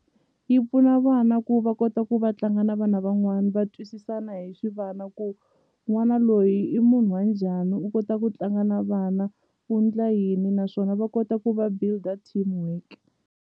Yi pfuna vana ku va kota ku va tlanga na vana van'wani va twisisana hi xivana ku n'wana loyi i munhu wa njhani u kota ku tlanga na vana u ndla yini naswona va kota ku va build-a teamwork.